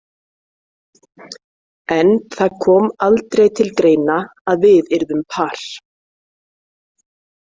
En það kom aldrei til greina að við yrðum par.